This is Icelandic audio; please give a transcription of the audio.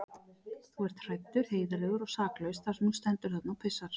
Þú ert hræddur, heiðarlegur og saklaus þar sem þú stendur þarna og pissar.